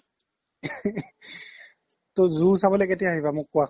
ত zoo চাবলৈ কেতিয়া আহিবা মোক কুৱা